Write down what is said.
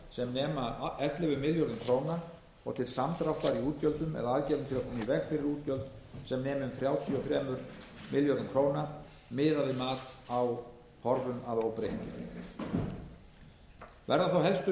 sem nema ellefu milljörðum króna og til samdráttar í útgjöldum eða aðgerðum til að koma í veg fyrir útgjöld sem nema þrjátíu og þremur milljörðum króna miðað við mat á horfum að óbreyttu verða þá helstu